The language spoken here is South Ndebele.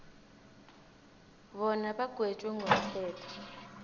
bona bagwetjwe ngomthetho